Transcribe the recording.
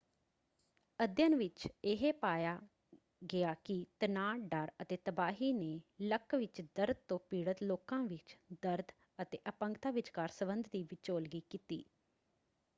ਅਧਿਐਨ ਵਿੱਚ ਇਹ ਪਾਇਆ ਗਿਆ ਕਿ ਤਣਾਅ ਡਰ ਅਤੇ ਤਬਾਹੀ ਨੇ ਲੱਕ ਵਿੱਚ ਦਰਦ ਤੋਂ ਪੀੜਤ ਲੋਕਾਂ ਵਿੱਚ ਦਰਦ ਅਤੇ ਅਪੰਗਤਾ ਵਿਚਕਾਰ ਸਬੰਧ ਦੀ ਵਿਚੋਲਗੀ ਕੀਤੀ।